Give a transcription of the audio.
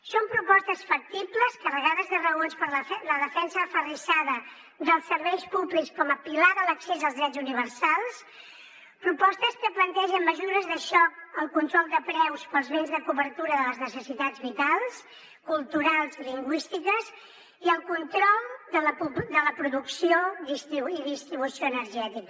són propostes factibles carregades de raons per la defensa aferrissada dels serveis públics com a pilar de l’accés als drets universals propostes que plantegen mesures de xoc el control de preus pels béns de cobertura de les necessitats vitals culturals i lingüístiques i el control de la producció i distribució energètica